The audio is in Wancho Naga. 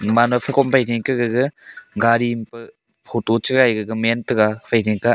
mano pha kom phai ding ka gaga gar i anpe photo chaga man taga ephai ding ka a.